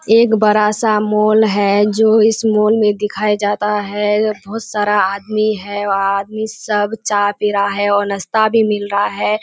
एक बड़ा सा मॉल है जो इस मॉल मे दिखाया जाता है बहुत सारा आदमी है आदमी सब चाय पी रहा है और नाश्ता भी मिल रहा है।